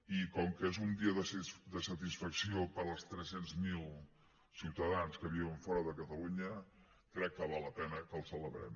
i com que és un dia de satisfacció per als tres cents miler ciutadans que viuen fora de catalunya crec que val la pena que el celebrem